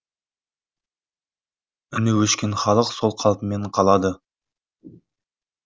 үні өшкен халық сол қалпымен қалады